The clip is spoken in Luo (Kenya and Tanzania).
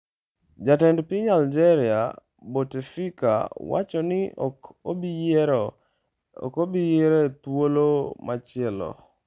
Jatend piny Algeria, Bouteflika, wacho ni ok obi yiero e thuolo machielo